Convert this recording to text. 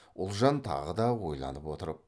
ұлжан тағы да ойланып отырып